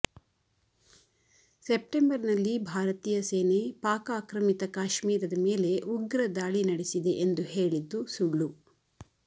ಸೆಪ್ಟೆಂಬರ್ನಲ್ಲಿ ಭಾರತೀಯ ಸೇನೆ ಪಾಕ್ ಆಕ್ರಮಿತ ಕಾಶ್ಮೀರದ ಮೇಲೆ ಉಗ್ರ ದಾಳಿ ನಡೆಸಿದೆ ಎಂದು ಹೇಳಿದ್ದು ಸುಳ್ಳು